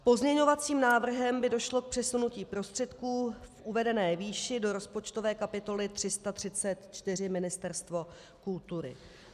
Pozměňovacím návrhem by došlo k přesunutí prostředků v uvedené výši do rozpočtové kapitoly 334 Ministerstvo kultury.